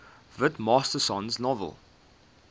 whit masterson's novel